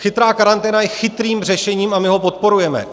Chytrá karanténa je chytrým řešením a my ho podporujeme.